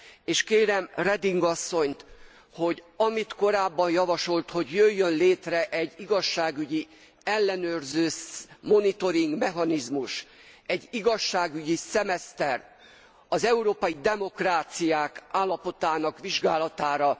És kérem Reding asszonyt, hogy amit korábban javasolt, hogy jöjjön létre egy igazságügyi ellenőrző monitoring mechanizmus, egy igazságügyi szemeszter az európai demokráciák állapotának vizsgálatára.